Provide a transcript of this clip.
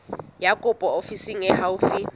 ya kopo ofising e haufi